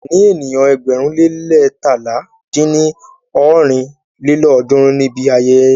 A lè ní ènìyàn ẹgbẹ̀rún le leétalá dín ní ọ́rin lélọ́ọ̀dúnrún níbi ayẹyẹ náà.